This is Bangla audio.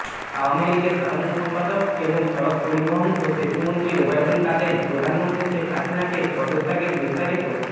আওয়ামী লীগের সাধারণ সম্পাদক এবং সড়ক পরিবহন ও সেতুমন্ত্রী ওবায়দুল কাদের প্রধানমন্ত্রী শেখ হাসিনাকে পদত্যাগেরবিস্তারিত